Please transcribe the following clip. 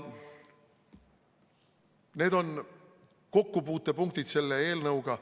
Need on kokkupuutepunktid selle eelnõuga.